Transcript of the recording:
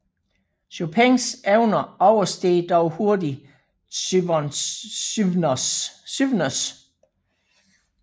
Chopins evner oversteg dog hurtigt Żywnys